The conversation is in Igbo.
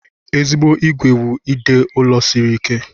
Ezigbo ìgwè wụ ide ụlọ siri ike.